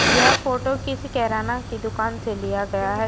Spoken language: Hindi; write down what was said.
यह फोटो किसी केराना की दुकान से लिया गया है।